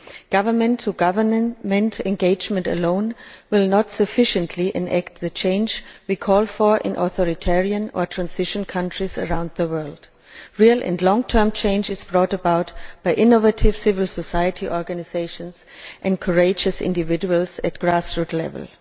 Government to government engagement alone will not sufficiently enact the change we call for in authoritarian or transition countries around the world, namely real and long term changes brought about by innovative civil society organisations and courageous individuals at grassroots level.